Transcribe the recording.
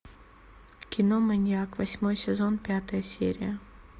кино маньяк восьмой сезон пятая серия